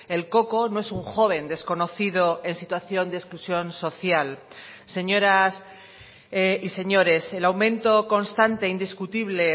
el coco no es un joven desconocido en situación de exclusión social señoras y señores el aumento constante indiscutible